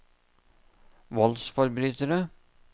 voldsforbrytere